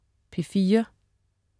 P4: